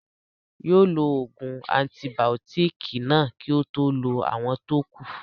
Yóò lo ògùn antibàótìkì náà kí ó tó lo àwọn tó kù